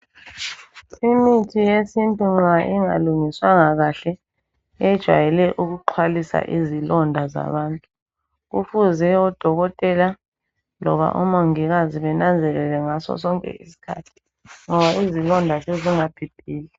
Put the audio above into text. Imithi yesintu nxa ingalungiswanga kahle ijayele ukuxhwalisa izilonda zabantu .Kufuze odokotela loba omongikazi benanzelele ngaso sonke iskhathi .Ngoba izilonda sezingabhibhidla .